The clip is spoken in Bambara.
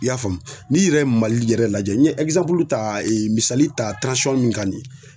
I y'a faamu? N'i yɛrɛ Mali yɛrɛ lajɛ n ye ta misali ta min kan nin ye